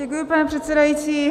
Děkuji, pane předsedající.